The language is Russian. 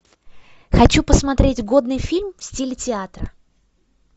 хочу посмотреть годный фильм в стиле театра